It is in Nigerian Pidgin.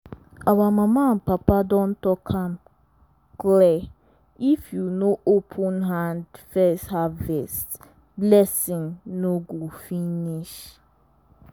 our mama and papa don talk am clear if you no open hand first harvest blessing no go finish.